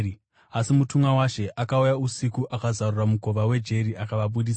Asi mutumwa waShe akauya usiku akazarura mukova wejeri akavabudisa,